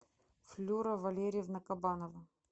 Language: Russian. флюра валерьевна кабанова